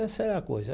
Essa é a coisa.